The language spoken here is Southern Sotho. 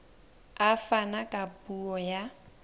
a fana ka puo ya